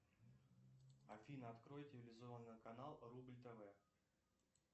афина открой телевизионный канал рубль тв